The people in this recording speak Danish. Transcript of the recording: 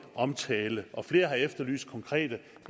omtale og flere har efterlyst konkrete